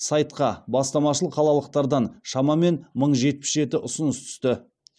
сайтқа бастамашыл қалалықтардан шамамен мың жетпіс жеті ұсыныс түсті